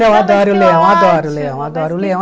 Não, adoro o Leão, adoro o Leão, adoro o Leão.